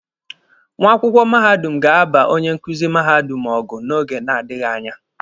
Nwa akwụkwọ mahadum ga-aba onye nkuzi mahadum ọgụ n'oge na-adịghi anya.